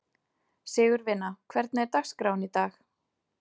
Sigurvina, hvernig er dagskráin í dag?